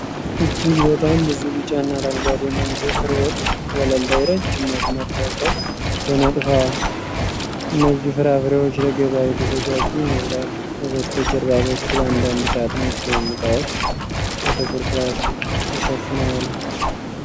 እጅግ በጣም ብዙ ቢጫና አረንጓዴ ማንጎ ፍሬዎች ወለል ላይ ረዥም መስመር ሰርተው ተነጥፈዋል። እነዚህ ፍራፍሬዎች ለገበያ የተዘጋጁ ይመስላሉ። ከበስተጀርባ በኩል አንዳንድ ሳጥኖች ወይም እቃዎች በጥቁር ፕላስቲክ ተሸፍነው አሉ።